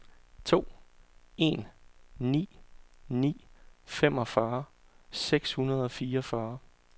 to en ni ni femogfyrre seks hundrede og fireogfyrre